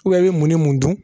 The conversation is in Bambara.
i bɛ mun ni mun dun?